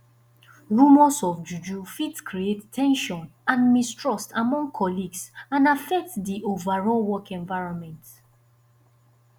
rumors of juju fit create ten sion and mistrust among colleagues and affect di overall work environment